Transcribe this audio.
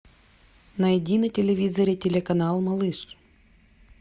найди на телевизоре телеканал малыш